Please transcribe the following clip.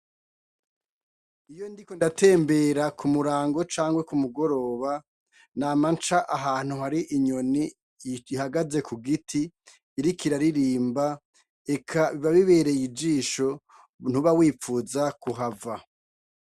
Iyo ndiko ndatembera k'umurango canke k'umugoroba nama nca ahantu hari inyoni ihagaze ku giti, iriko iraririmba eka biba bibereye ijisho ntuba wipfuza kuhava.